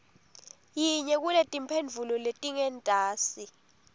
yinye kuletimphendvulo letingentasi